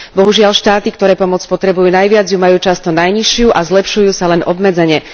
Bohužiaľ štáty, ktoré pomoc potrebujú najviac, ju majú často najnižšiu a zlepšujú sa len obmedzene.